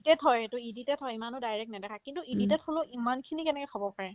edited হয় এইটো edited হয় ইমানো direct নেদেখাই কিন্তু edited হ'লেও ইমানখিনি কেনেকে খাব পাৰে ?